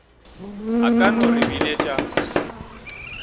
a ka no re biletša